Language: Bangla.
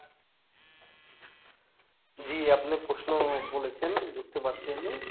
জি আপনি প্রশ্ন বলেছেন বুঝতে পারছি আমি